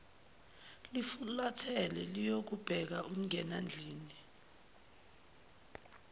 lufulathela luyobeka umngenandlini